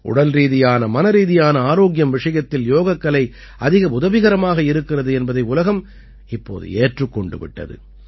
உடல்ரீதியான மனரீதியான ஆரோக்கியம் விஷயத்தில் யோகக்கலை அதிக உதவிகரமாக இருக்கிறது என்பதை உலகம் இப்போது ஏற்றுக் கொண்டு விட்டது